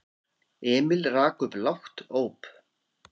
Emil rak upp lágt óp.